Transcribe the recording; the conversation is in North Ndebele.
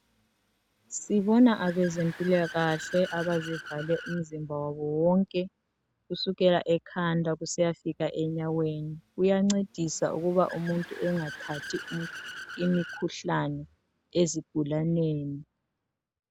Sibona abezempilakahle abazivale umzimba wonke kusukela ekhanda kusiyafika enyaweni kuyancedisa ukuba umuntu engathathi imikhuhlane ezigulaneni